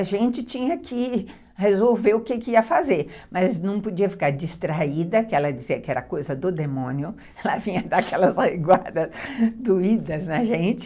A gente tinha que resolver o que ia fazer, mas não podia ficar distraída, que ela dizia que era coisa do demônio, ela vinha dar aquelas reguadas doídas na gente.